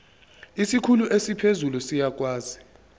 isikhulu esiphezulu siyakwazi